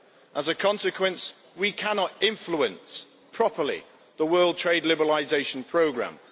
As a consequence, we cannot influence properly the world trade liberalisation programme.